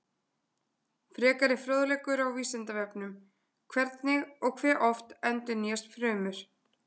Frekari fróðleikur á Vísindavefnum: Hvernig og hve oft endurnýjast frumur?